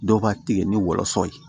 Dɔw b'a tigɛ ni wɔlɔsɔ ye